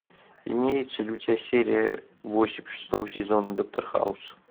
имеется ли у тебя серия восемь шестого сезона доктор хаус